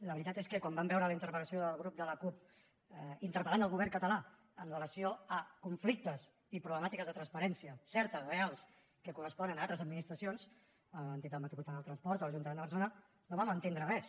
la veritat és que quan vam veure la interpel·lació del grup de la cup interpel·lant el govern català amb relació a conflictes i problemàtiques de transparència certes reals que corresponen a altres administracions l’entitat metropolitana del transport o l’ajuntament de barcelona no vam entendre res